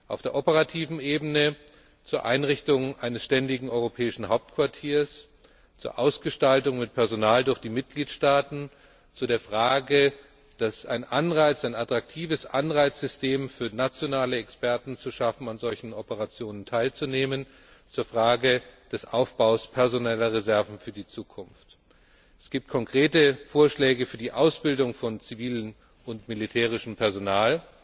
auf der operativen Ebene zur Einrichtung eines ständigen europäischen Hauptquartiers, zur Ausgestaltung mit Personal durch die Mitgliedstaaten, zu der Frage, ein attraktives Anreizsystem für nationale Experten zu schaffen, an solchen Operationen teilzunehmen, zur Frage des Aufbaus personeller Reserven für die Zukunft. Es gibt konkrete Vorschläge für die Ausbildung von zivilem und militärischem Personal.